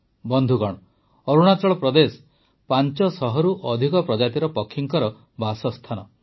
ବନ୍ଧୁଗଣ ଅରୁଣାଚଳ ପ୍ରଦେଶ ୫୦୦ରୁ ଅଧିକ ପ୍ରଜାତିର ପକ୍ଷୀଙ୍କ ବାସସ୍ଥାନ ଅଟେ